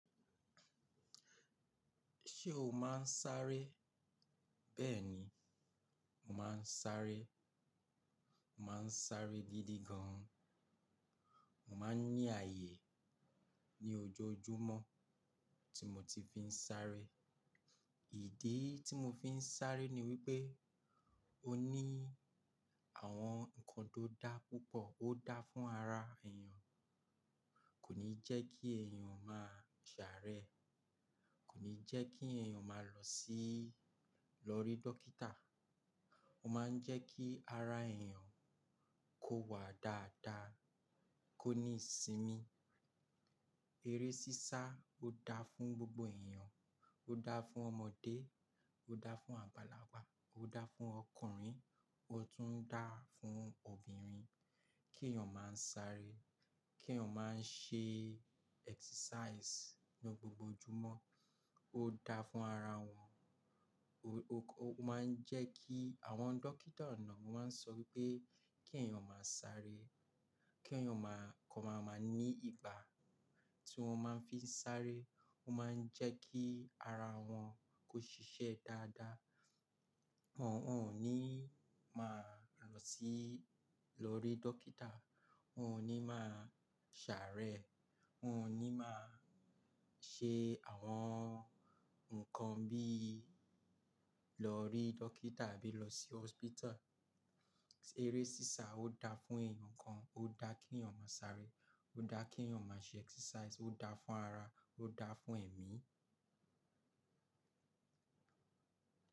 Ṣé o máa ń sáré? Bẹ́ẹ̀ni, mo máa ń sáré. Mo máa ń sáré gidi gan. Mo máa ń ní ààyè ní ojoojúmọ́ tí mo ti fi ń sáré. Ìdí tí mo fi ń sáré ni wípé ó ní àwọn ǹkan tó dá púpọ̀, ó dá fún ara èèyàn, kò ní jẹ́ kí èèyàn máa ṣàárẹ̀, kò ní jẹ́ kí èèyàn máa lọ sí-- lọ rí dókítà. Ó máa ń jẹ́ kí ara èèyàn kó wà dáadáa, kó ní ìsinmi. Eré sísá ó dá fún gbogbo èèyàn, ó dá fún ọmọdé, ó dá fún àgbàlagbà, ó dá fún ọkùnrin, ó tún ń dá fún obìnrin. Kí èèyàn máa ń sáré, kí èèyàn máa ń ṣe exercise ní gbogbo ojúmọ́ ó dá fún ara wọn. Ó máa ń jẹ́ kí àwọn dókítà náà máa ń sọ wípé kí èèyàn máa sáré, kí èèyàn máa kọ́ máa máa ní ìgbà tí wón máa ń fi ń sáré. Ó máa ń jẹ́ kí ara wọn kó ṣiṣẹ́ dáadáa. Wọn ò ní máa lọ sí-- lọ rí dókítà, wọ́n ò ní máa ṣàárẹ̀, wọ́n ò ní máa ṣe àwọn nǹkan bí í lọ rí dókítà àbí lọ sí "hospital". Eré sísá ó dá fún èèyàn kan, ó dá kí èèyàn máa sáré, ó dá kí èèyàn máa ṣe exercise, ó dá fún ara, ó dá fún ẹ̀mí.